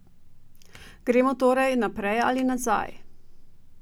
Gremo torej naprej ali nazaj?